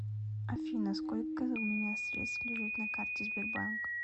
афина сколько у меня средств лежит на карте сбербанк